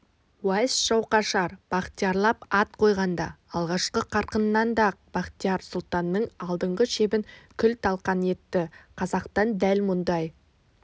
уайс жауқашар бахтиярлап ат қойғанда алғашқы қарқынында-ақ бахтияр сұлтанның алдыңғы шебін күл-талқан етті қазақтан дәл мұндай